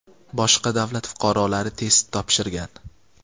boshqa davlat fuqarolari test topshirgan.